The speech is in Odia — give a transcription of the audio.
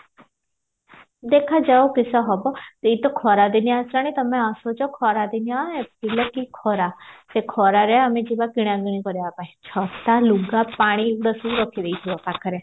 ଦେଖା ଯାଉ କିସ ହବ ଏଇ ତ ଖରା ଦିନ ଆସିଲାଣି ତମେ ଆସୁଚ ଖରା ଦିନ ଏବେ ଲୋ କି ଖରା ସେ ଖରରେ ଆମେ ଯିବା କିଣା କିଣି କରିବା ପାଇଁ ଛତା ଲୁଗା ପାଣି ଏଗୁଡା ସବୁ ରଖିଦେଇଥିବା ପାଖରେ